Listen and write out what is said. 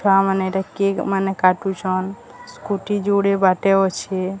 ଛୁଆ ମାନେ ଏଟା କେକ୍ ମାନ କାଟୁଛନ। ସ୍କୁଟି ଯୋଡ଼େ ବାଟେ ଅଛି।